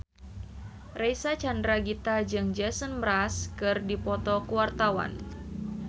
Reysa Chandragitta jeung Jason Mraz keur dipoto ku wartawan